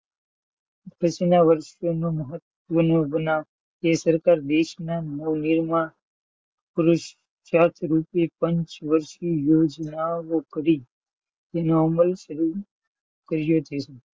પછી નાં વર્ષ મહત્વ નો બનાવ કે સરકાર દેશમાં નવનિર્માણ પુરુષ ચાર્જ રૂપે પંચવર્સ્ષી યોજના ઓ કરી કરી હતી.